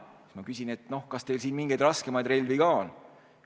Siis ma küsisin, kas neil mingeid raskemaid relvi ka on.